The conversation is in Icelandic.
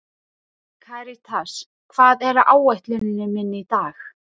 Karítas, hvað er á áætluninni minni í dag?